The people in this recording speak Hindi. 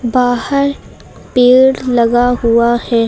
बाहर पेड़ लगा हुआ है।